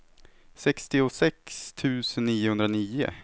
sextiosex tusen niohundranio